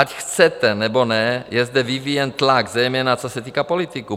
Ať chcete nebo ne, je zde vyvíjen tlak, zejména co se týká politiků.